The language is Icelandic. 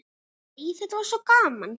Æ, þetta var svo gaman.